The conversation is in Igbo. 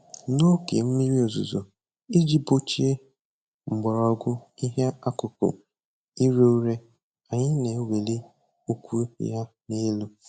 N'oge mmiri ozuzo, iji gbochie mgbọrọgwụ ihe qkụkụ ire ure, anyị na-eweli ukwu ya n'elu